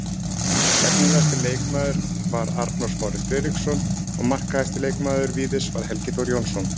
Efnilegasti leikmaður var Arnór Smári Friðriksson og markahæsti leikmaður Víðis var Helgi Þór Jónsson.